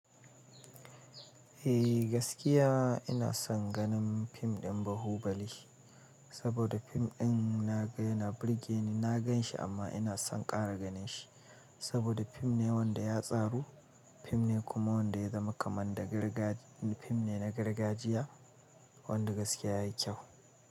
Eh gaskiya ina son ganin fim ɗin Bahubali, saboda fim ɗin na ga yana burge ni, na gan shi amma ina son ƙara ganin shi. Saboda fim ne wanda ya tsaru, fim ne kuma wanda ya zama kamar da gargaɗi, fim ne na gargajiya wanda gaskiya yayi kyau.